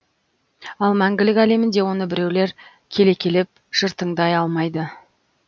ал мәңгілік әлемінде оны біреулер келекелеп жыртаңдай алмайды